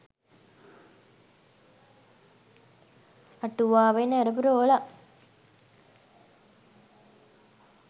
අටුවාවෙන් ඇරපු රෝලක්..